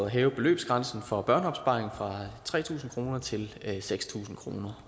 hæve beløbsgrænsen for børneopsparing fra tre tusind kroner til seks tusind kroner